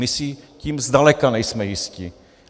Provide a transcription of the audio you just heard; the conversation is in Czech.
My si tím zdaleka nejsme jisti.